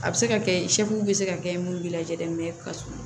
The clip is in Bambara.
A bɛ se ka kɛ bɛ se ka kɛ mun b'i lajalen mɛ ka sun